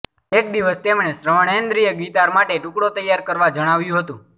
એક દિવસ તેમણે શ્રવણેન્દ્રિય ગિતાર માટે ટુકડો તૈયાર કરવા જણાવ્યું હતું